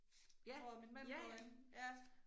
Ja. Ja